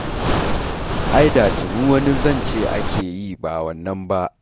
Ai da tuni wani zance ake yi ba wannan ba.